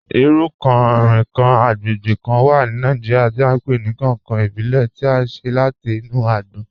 Irú kán-rinkan agbègbè kán wà ní Nàìjíríà tí à n pe ni 'kankan ìbílè' tí à ṣe láti inú àgbòn.